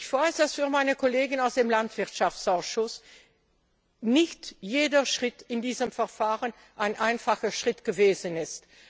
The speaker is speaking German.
Ich weiß, dass für meine Kollegen aus dem Landwirtschaftsausschuss, nicht jeder Schritt in diesem Verfahren ein einfacher gewesen